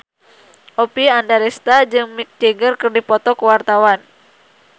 Oppie Andaresta jeung Mick Jagger keur dipoto ku wartawan